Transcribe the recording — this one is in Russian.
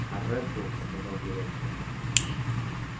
а реддл сказал директор